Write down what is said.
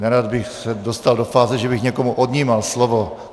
Nerad bych se dostal do fáze, že bych někomu odnímal slovo.